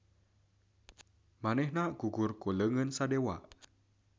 Manehna gugur ku leungeun Sadewa.